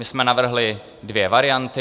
My jsme navrhli dvě varianty.